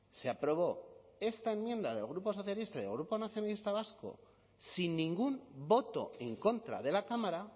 se aprobó esta enmienda del grupo socialista y del grupo nacionalista vasco sin ningún voto en contra de la cámara